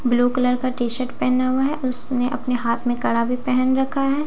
Blue colour का टी शर्ट पेहना हुआ है उसने अपने हाथ में कड़ा भी पेहन रखा है।